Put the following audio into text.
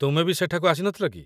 ତୁମେ ବି ସେଠାକୁ ଆସିନଥିଲ କି ?